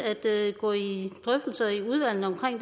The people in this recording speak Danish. gå i drøftelser i udvalget omkring